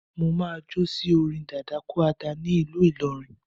Máà jo sí orin dadakúàdà ní ìlú ìlọrin